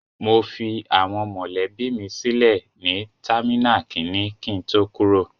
I left my family members at terminal one before I departed.